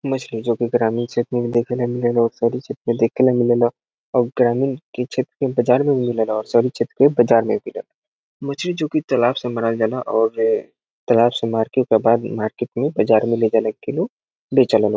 मछली जे की ग्रामीण क्षेत्र में भी देखेला मिलेला और शहरी क्षेत्र में देखेला मिलेला और ग्रामीण के क्षेत्र में बाजार में भी मिलेला और शहरी क्षेत्र में बाजार मे भी मिलेला मछली जो की तालाब से मराल जा ला और तालाब से मार के ओकर बाद मार्केट मे बाजार मे बेचे ला लोग।